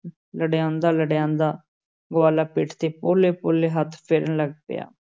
ਲਡਿਆਂਦਾ-ਲਡਿਆਂਦਾ, ਗਵਾਲਾ ਪਿੱਠ 'ਤੇ ਪੋਲੇ-ਪੋਲੇ ਹੱਥ ਫੇਰਨ ਲੱਗ ਪਿਆ।